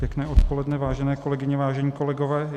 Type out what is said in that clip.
Pěkné odpoledne, vážené kolegyně, vážení kolegové.